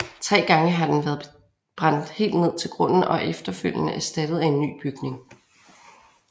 Tre gange har den været brændt helt ned til grunden og er efterfølgende erstattet af en ny bygning